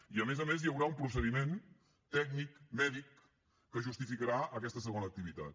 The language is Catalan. i a més a més hi haurà un procediment tècnic mèdic que justificarà aquesta segona activitat